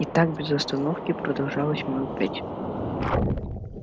и так без остановки продолжалось минут пять